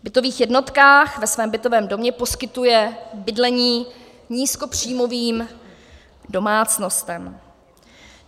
V bytových jednotkách ve svém bytovém domě poskytuje bydlení nízkopříjmovým domácnostem.